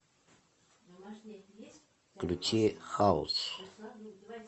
включи хаус